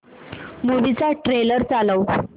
movie चा trailer चालव